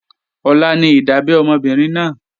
Ọ̀la ní ìdábẹ́ ọmọ obìnrin náà